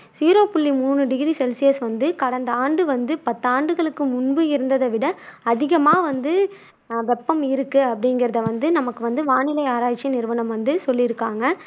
zero புள்ளி மூணு degree Celsius வந்து கடந்த ஆண்டு வந்து பத்து ஆண்டுகளுக்கு முன்பு இருந்ததை விட அதிகமா வந்து வெப்பம் இருக்கு அப்படிங்குறதை வந்து நமக்கு வந்து வானிலை ஆராய்ச்சி நிறுவனம் வந்து சொல்லியிருக்காங்க